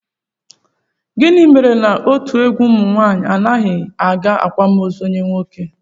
Gịnị mere na otu egwu ụmụnwaanyị anaghị aga akwamozu onye nwoke?